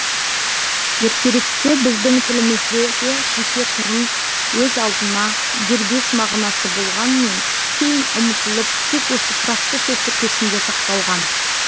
ертеректе біздің тілімізде де жеке тұрын өз алдына дербес мағынасы болғанмен кейін ұмытылып тек осы тұрақты сөз тіркесінде сақталған